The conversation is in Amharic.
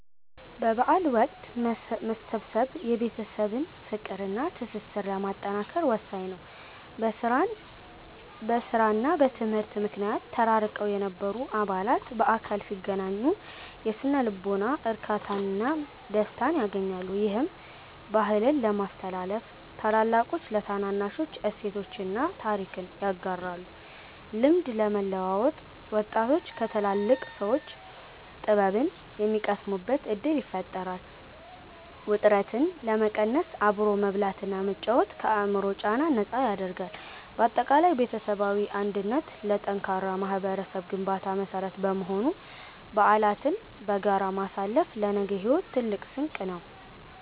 በበዓል ወቅት መሰብሰብ የቤተሰብን ፍቅርና ትስስር ለማጠናከር ወሳኝ ነው። በሥራና በትምህርት ምክንያት ተራርቀው የነበሩ አባላት በአካል ሲገናኙ የሥነ-ልቦና እርካታና ደስታን ያገኛሉ። ይህም፦ -ባህልን ለማስተላለፍ፦ ታላላቆች ለታናናሾች እሴቶችንና ታሪክን ያጋራሉ። -ልምድ ለመለዋወጥ፦ ወጣቶች ከትላልቅ ሰዎች ጥበብን የሚቀስሙበት ዕድል ይፈጥራል። -ውጥረትን ለመቀነስ፦ አብሮ መብላትና መጫወት ከአእምሮ ጫና ነፃ ያደርጋል። ባጠቃላይ ቤተሰባዊ አንድነት ለጠንካራ ማኅበረሰብ ግንባታ መሠረት በመሆኑ፣ በዓላትን በጋራ ማሳለፍ ለነገው ሕይወት ትልቅ ስንቅ ነው።